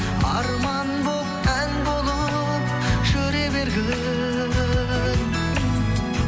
арман болып ән болып жүре бергін